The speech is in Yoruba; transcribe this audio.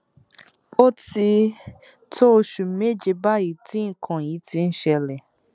ó ti tó oṣù méje báyìí tí nǹkan yìí ti ń ṣẹlẹ